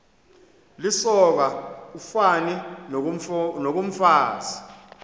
lisoka ufani nokomfazi